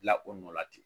Dilan o nɔ la ten